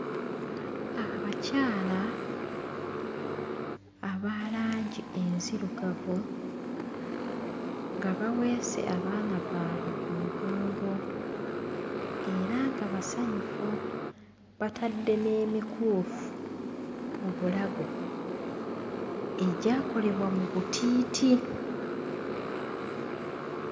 Abakyala aba langi enzirugavu nga baweese abaana baabwe ku migongo era nga basanyufu batadde n'emikuufu mu bulago egyakolebwa mu butiiti.